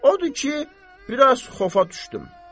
Odur ki, biraz xofa düşdüm.